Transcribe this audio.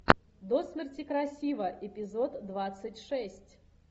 до смерти красива эпизод двадцать шесть